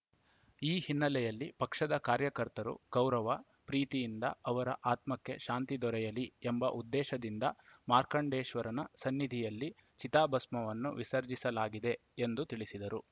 ಈ ಹಿನ್ನೆಲೆಯಲ್ಲಿ ಪಕ್ಷದ ಕಾರ್ಯಕರ್ತರು ಗೌರವ ಪ್ರೀತಿಯಿಂದ ಅವರ ಆತ್ಮಕ್ಕೆ ಶಾಂತಿ ದೊರೆಯಲಿ ಎಂಬ ಉದ್ದೇಶದಿಂದ ಮಾರ್ಕಾಂಡೇಶ್ವರ ಸನ್ನಿಧಿಯಲ್ಲಿ ಚಿತಾಭಸ್ಮವನ್ನು ವಿಸರ್ಜಿಸಲಾಗಿದೆ ಎಂದು ತಿಳಿಸಿದರು